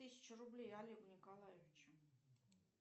тысячу рублей олегу николаевичу